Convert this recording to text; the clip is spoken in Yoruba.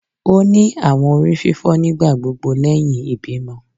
O ni awọn orififo nigbagbogbo lẹhin ibimọ